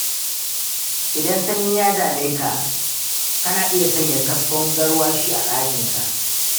Idan sanyi ya dame ka, kana iya sanya kaskon garwashi a ɗakinka.